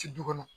Ci du kɔnɔ